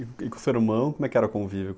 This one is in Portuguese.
E com o seu irmão, como era o convívio?